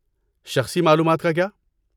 شخصی معلومات کا کیا؟